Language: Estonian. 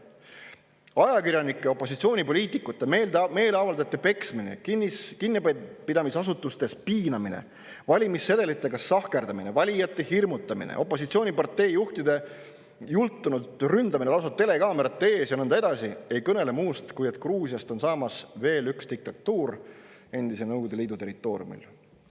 Ajakirjanike, opositsioonipoliitikute, meeleavaldajate peksmine, kinnipidamisasutustes piinamine, valimissedelitega sahkerdamine, valijate hirmutamine, opositsioonipartei juhtide jultunult ründamine lausa telekaamerate ees ja nõnda edasi ei kõnele muust, kui et Gruusiast on saamas veel üks diktatuur endise Nõukogude Liidu territooriumil.